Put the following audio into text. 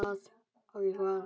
Ókei. hvað?